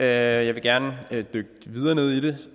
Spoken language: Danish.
jeg vil gerne dykke videre ned i det